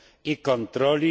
i kontroli.